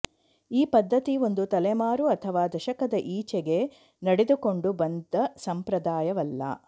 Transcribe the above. ಈ ಪದ್ಧತಿ ಒಂದು ತಲೆಮಾರು ಅಥವಾ ದಶಕದ ಈಚೆಗೆ ನಡೆದುಕೊಂಡು ಬಂದ ಸಂಪ್ರದಾಯವಲ್ಲ